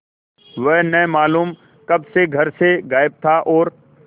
वह न मालूम कब से घर से गायब था और